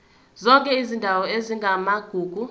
zonke izindawo ezingamagugu